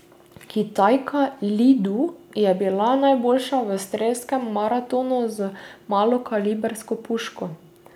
Kitajka Li Du je bila najboljša v strelskem maratonu z malokalibrsko puško.